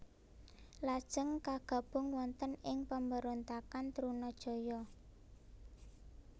Lajeng kagabung wonten ing pemberontakan Trunajaya